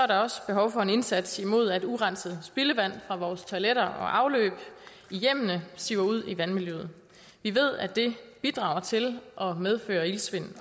der også behov for en indsats imod at urenset spildevand fra vores toiletter og afløb i hjemmene siver ud i vandmiljøet vi ved at det bidrager til og medfører iltsvind